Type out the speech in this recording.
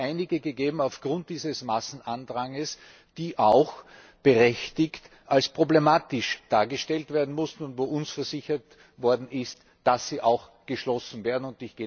Es hat einige gegeben aufgrund dieses Massenandrangs, die auch zu Recht als problematisch dargestellt werden mussten, und wo uns versichert worden ist, dass sie geschlossen werden.